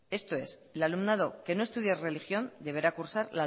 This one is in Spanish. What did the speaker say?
esto es el alumnado que no estudie religión deberá cursar